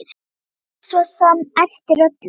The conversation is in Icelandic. Það var svo sem eftir öllu.